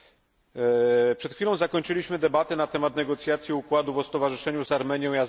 Przed chwilą zakończyliśmy debatę na temat negocjacji układów o stowarzyszeniu z Armenią i Azerbejdżanem.